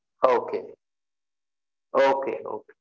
Okay okay okay